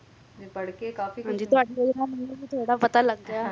ਤੁਵਾਂਨੂੰ ਪੁਛੂਨ ਨਾਲ ਮੈਨੂੰ ਵੀ ਥੋਰਆ ਬੋਹਤ ਪਤਾ ਲੱਗ ਗਿਆ